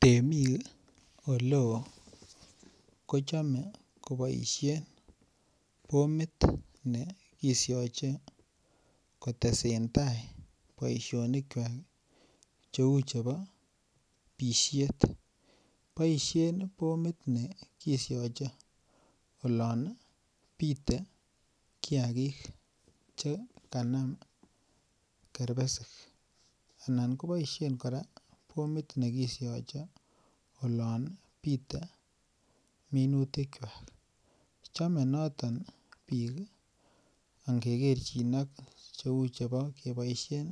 Temik oleo kochame kobaishien bomit nekisiache kotesetai boisianikuak cheuu chebo boisien bomit nekisiache olon bitekiagig chekanam kerbesik. Anan keboisien kora bomit nekisiache olon bite minutikuak chomee noton biik ingekerchin ak cheuu chebo ingeboisien